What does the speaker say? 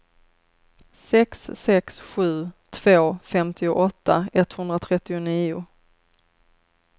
sex sex sju två femtioåtta etthundratrettionio